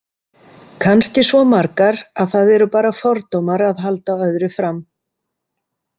Kannski svo margar að það eru bara fordómar að halda öðru fram.